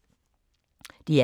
DR K